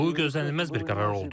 Bu gözlənilməz bir qərar oldu.